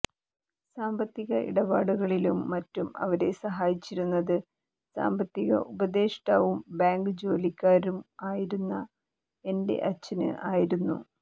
സാമ്പത്തിക ഇടപാടുകളിലും മറ്റും അവരെ സഹായിച്ചിരുന്നത് സാമ്പത്തിക ഉപതെഷ്ടാവും ബാങ്ക് ജോലിക്കാരനും ആയിരുന്ന എന്റെ അച്ഛന് ആയിരുന്നു